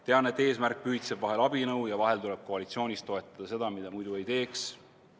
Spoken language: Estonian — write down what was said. Tean, et eesmärk pühitseb vahel abinõu ja vahel tuleb koalitsioonis toetada seda, mida muidu ei teeks.